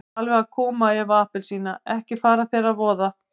Ég er alveg að koma Eva appelsína, ekki fara þér að voða.